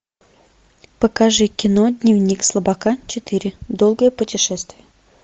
покажи кино дневник слабака четыре долгое путешествие